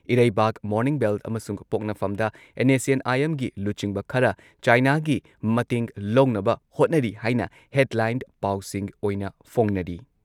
ꯏꯔꯩꯕꯥꯛ, morning bell ꯑꯃꯁꯨꯡ ꯄꯣꯛꯅꯐꯝꯗ ꯑꯦꯟ.ꯑꯦꯁ.ꯁꯤ.ꯑꯦꯟ.ꯑꯥꯏ.ꯑꯦꯝꯒꯤ ꯂꯨꯆꯤꯡꯕ ꯈꯔ ꯆꯥꯏꯅꯥꯒꯤ ꯃꯇꯦꯡ ꯂꯧꯅꯕ ꯍꯣꯠꯅꯔꯤ ꯍꯥꯏꯅ ꯍꯦꯗꯂꯥꯏꯟ ꯄꯥꯎꯁꯤꯡ ꯑꯣꯏꯅ ꯐꯣꯡꯅꯔꯤ ꯫